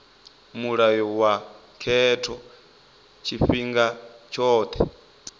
mulayo wa khetho tshifhinga tshothe